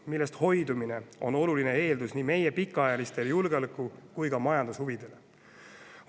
Nendest hoidumine on oluline meie pikaajaliste julgeoleku- ja majandushuvide eeldus.